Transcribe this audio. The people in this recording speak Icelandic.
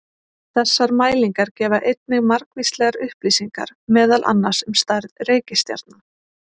Þessar mælingar gefa einnig margvíslegar upplýsingar meðal annars um stærð reikistjarna.